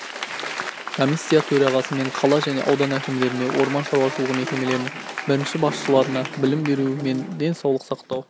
комиссия төрағасымен қала және аудан әкімдеріне орман шаруашылығы мекемелерінің бірінші басшыларына білім беру мен денсаулық сақтау